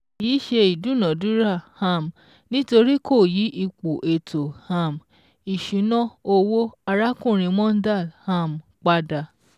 kì í ṣe ìdúnadúrà, um nítorí kò yí ipò ètò um ìṣúná owó arákùnrin Mondal um pada